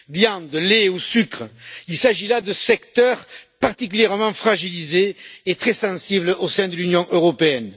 Viande, lait ou sucre, il s'agit là de secteurs particulièrement fragilisés et très sensibles au sein de l'Union européenne.